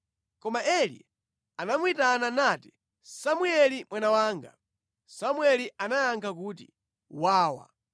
Koma Eli anamuyitana nati, “Samueli mwana wanga.” Samueli anayankha kuti, “Wawa.”